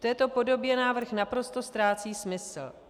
V této podobě návrh naprosto ztrácí smysl.